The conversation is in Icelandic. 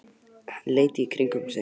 Hann leit allt í kringum sig.